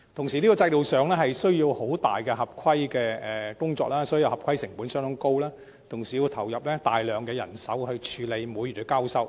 此外，這個制度需要很多合規工作，合規成本因而相當高，更要投入大量人手處理每月的交收。